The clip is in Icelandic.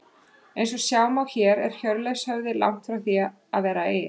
Eins og sjá má er Hjörleifshöfði langt frá því að vera eyja.